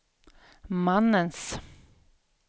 mannens